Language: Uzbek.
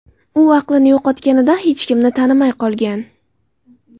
U aqlini yo‘qotganida hech kimni tanimay qolgan.